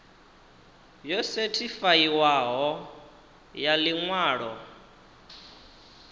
yo sethifaiwaho ya ḽi ṅwalo